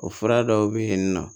O fura dɔw bɛ yen nɔ